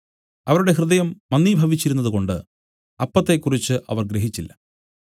അവരുടെ ഹൃദയം മന്ദീഭവിച്ചിരുന്നതുകൊണ്ട് അപ്പത്തെക്കുറിച്ച് അവർ ഗ്രഹിച്ചില്ല